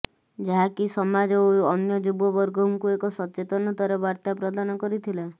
ଯାହାକି ସମାଜ ଓ ଅନ୍ୟ ଯୁବବର୍ଗଙ୍କୁ ଏକ ସଚେତନତାର ବାର୍ତା ପ୍ରଦାନ କରିଥଲା